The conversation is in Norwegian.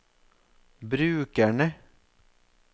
brukerne